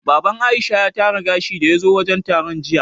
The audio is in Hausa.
Baban Aisha ya tara gashi daya zo wajen taron jiya